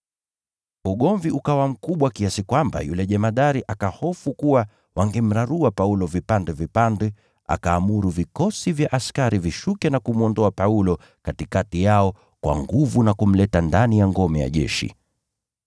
Ugomvi ukawa mkubwa kiasi kwamba yule jemadari akahofu kuwa wangemrarua Paulo vipande vipande, akaamuru vikosi vya askari vishuke na kumwondoa Paulo katikati yao kwa nguvu na kumleta ndani ya ngome ya jeshi.